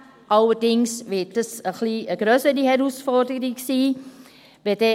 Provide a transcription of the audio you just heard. Allerdings wird dies ein wenig eine grössere Herausforderung sein.